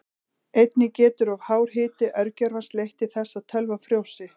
Einnig getur of hár hiti örgjörvans leitt til þess að tölvan frjósi.